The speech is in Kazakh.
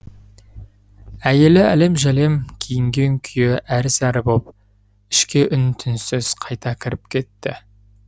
әйелі әлем жәлем киінген күйі әрі сәрі боп ішке үн түнсіз қайта кіріп кетті